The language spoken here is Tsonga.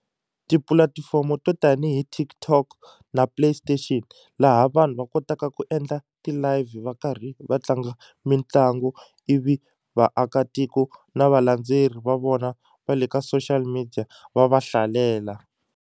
Tipulatifomo to tanihi TikTok na Play Station laha vanhu va kotaka ku endla ti-live va karhi va tlanga mitlangu ivi vaakatiko na valandzeleri va vona va le ka social media va va hlalela.